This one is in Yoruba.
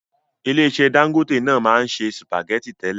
Ilé iṣẹ́ Dangote náà maa n se spaghetti tẹ́lẹ̀.